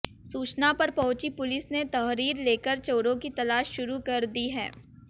सूचना पर पहुंची पुलिस ने तहरीर लेकर चोरों की तलाश शुरू कर दी है